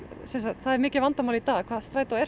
það er mikið vandamál í dag hvað strætó er